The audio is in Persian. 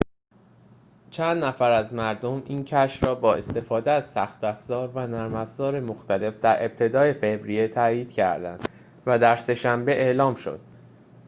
چند نفر از مردم این کشف را با استفاده از سخت‌افزار و نرم‌افزار مختلف در ابتدای فوریه تأیید کردند و در سه‌شنبه اعلام شد